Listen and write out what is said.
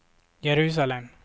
Jerusalem